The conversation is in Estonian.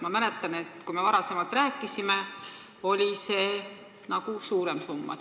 Ma mäletan, et kui me varem rääkisime, oli jutuks nagu suurem summa.